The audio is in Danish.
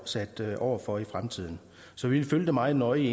sat over for i fremtiden så vi vil følge det meget nøje